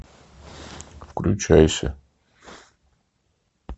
включайся